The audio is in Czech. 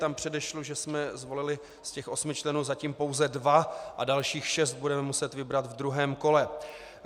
Tam předesílám, že jsme zvolili z těch osmi členů zatím pouze dva a dalších šest budeme muset vybrat ve druhém kole.